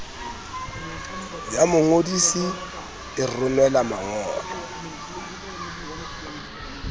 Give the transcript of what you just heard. ya mongodisi e romela mangolo